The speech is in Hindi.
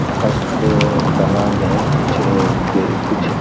हस्त कला में कुछ अ दे कुछ --